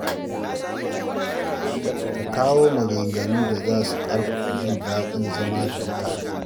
Ka kawo maganganun da za su ƙarfafa jin daɗin zama tare da mutane.